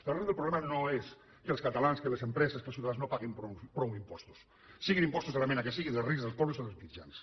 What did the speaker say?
l’arrel del problema no és que els catalans que les empreses que els ciutadans no paguin prou impostos siguin impostos de la mena que siguin dels rics dels pobres o dels mitjans